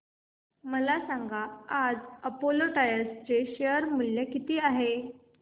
मला सांगा आज अपोलो टायर्स चे शेअर मूल्य किती आहे